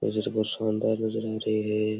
ये जगह शानदार नजर आ रही है।